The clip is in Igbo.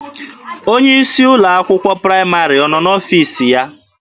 Onye isi ụlọ akwụkwọ praịmarị ọ nọ n'ọfiisi ya?